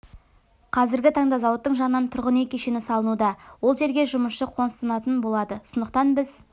қазіргі таңда зауыттың жанынан тұрғын үй кешені салынуда ол жерге жұмысшы қоныстанатын болады сондықтан біз